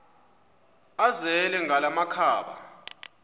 azele ngala makhaba